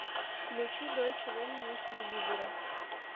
включи дойче велле на телевизоре